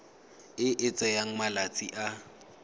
e e tsayang malatsi a